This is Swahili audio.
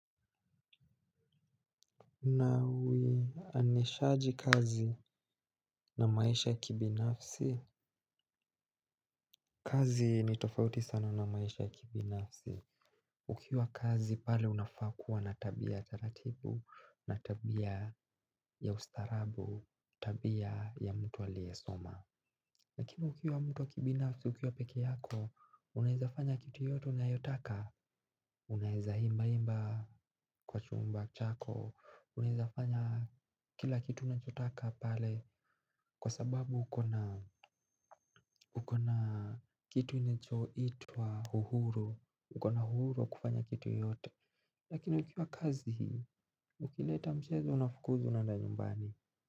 Unaweanishaji kazi na maisha ya kibinafsi. Kazi ni tofauti sana na maisha ya kibinafsi. Ukiwa kazi pale unafaa kuwa na tabia taratibu, na tabia ya ustarabu, tabia ya mtu aliesoma lakini ukiwa mtu wa ukibinafsi, ukiwa peke yako, unaezafanya kitu yoyote unayotaka. Unaeza imba imba kwa chumba chako, unaezafanya kila kitu unanchotaka pale. Kwa sababu ukona kitu inachoitwa uhuru. Ukona uhuru wa kufanya kitu yoyote. Lakini ukiwa kazi ukileta mchezo unafukuzwa unaenda nyumbani.